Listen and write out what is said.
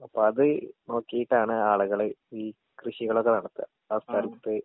അപ്പത് നോക്കീട്ടാണ് ആളുകള് ഈ കൃഷികളൊക്കെ നടത്താ ആ സ്ഥലത്ത്.